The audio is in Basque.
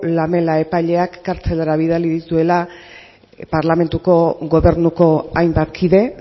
lamela epaileak kartzelara bidali dituela parlamentuko gobernuko hainbat kide